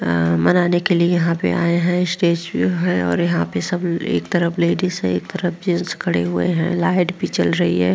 अ मनाने के लिए यहाँ पे आए हैं। स्टेज पे हैं और यहाँ पे सब एक तरफ लेडीज़ हैं एक तरफ जेन्ट्स खड़े हुए हैं। लाइट भी जल रही है।